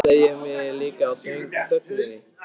Þá áttaði ég mig líka á þögninni.